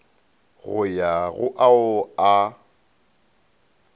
go ya go ao a